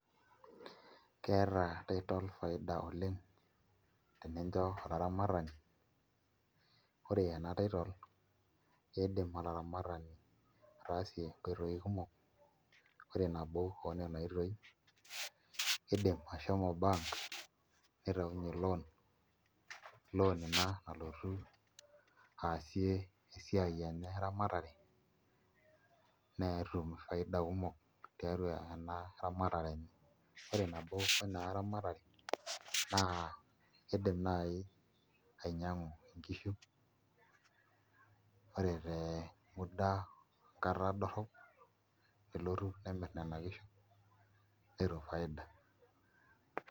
Keeta titol faida oleng' tenincho olaramatani ore ena titol kiidim ataramata, kiidim olaramatani ataasie nkoitoi kumok, ore nabo oo nena oitoi kiidim ashomo bank nitaunyie loan, loan ina nalotu aasie esiaai enye eramatare netum faida kumok tiatua ena ramatare enye ore nabo ina ramatare naa kiidim naai ainyiang'u nkishu ore te muda e nkata dorrop nelotu nemirr nena kishu netum faida.